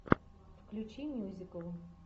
включи мюзикл